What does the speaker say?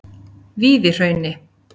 Víðihrauni